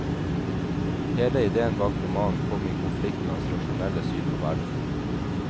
Hele idéen bak romanen kom i konflikt med hans rasjonelle syn på verden.